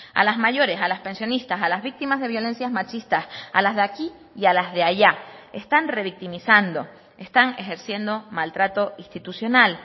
a las mayores a las pensionistas a las víctimas de violencias machistas a las de aquí y a las de allá están revictimizando están ejerciendo maltrato institucional